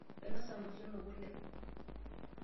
Ainosita nkwashen okule.